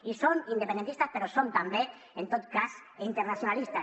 i som independentistes però som també en tot cas internacionalistes